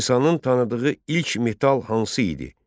İnsanın tanıdığı ilk metal hansı idi?